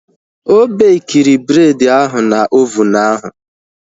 Ọ bekiri bred ahu na ovunu ahu